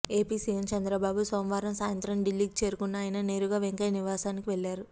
AP CM Chandrababu సోమవారం సాయంత్రం ఢిల్లీకి చేరుకున్న ఆయన నేరుగా వెంకయ్య నివాసానికి వెళ్లారు